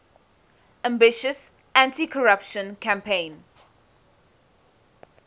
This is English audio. ambitious anticorruption campaign